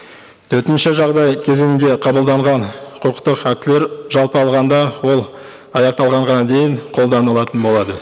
төтенше жағдай кезеңінде қабылданған құқықтық актілер жалпы алғанда ол аяқталғанға дейін қолданылатын болады